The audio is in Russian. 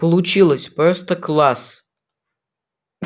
получилось просто класс